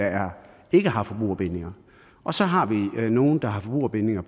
ikke har forbrugerbindinger og så har vi nogle der har forbrugerbindinger